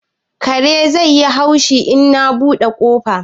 karen zai yi haushi in na buɗe kofar?